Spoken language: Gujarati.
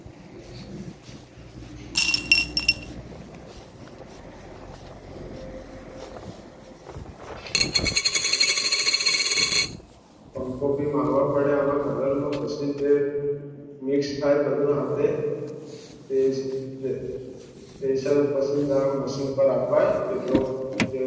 પંખો ભી મારવા પડે આમાં Colour માં મિક્સ થાય બધુ આપે છે પૈસા machine પર અપાય તેટલો